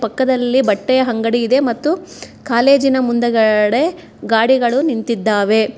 ಪಕ್ಕದಲ್ಲೇ ಬಟ್ಟೆ ಅಂಗಡಿ ಇದೆ ಮತ್ತು ಕಾಲೇಜಿನ ಮುಂದಗಡೆ ಗಾಡಿಗಳು ನಿಂತಿದ್ದಾವೆ.